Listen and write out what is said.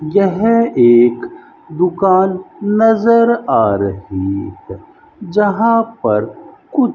यह एक दुकान नजर आ रही है जहां पर कुछ --